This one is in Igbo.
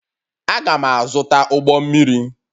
Aga'm -azụta ụgbọ mmiri